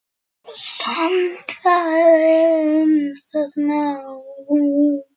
Sannfærðist um það þá.